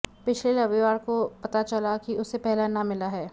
पिछले रविवार को पता चला कि उसे पहला इनाम मिला है